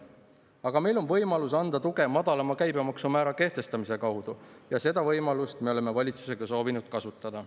Aga meil on võimalus anda tuge madalama käibemaksumäära kehtestamise kaudu ja seda võimalust me oleme valitsusega soovinud kasutada.